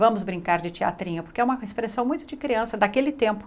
Vamos brincar de teatrinho, porque é uma expressão muito de criança, daquele tempo.